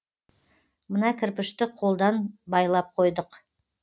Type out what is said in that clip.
мына кірпішті қолдан байлап қойдық